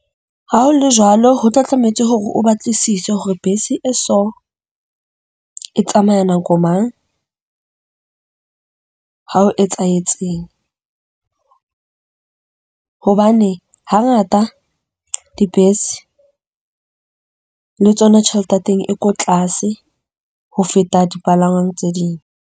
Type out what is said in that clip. Ha ho le jwalo, ho tla tlametse hore o batlisise hore bese e so e tsamaya nako mang, ha o etsahetseng. Hobane hangata dibese le tsona tjhelete ya teng e ko tlase ho feta dipalangwang tse ding.